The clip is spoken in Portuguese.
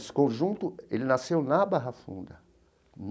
Esse conjunto, ele nasceu na Barra Funda.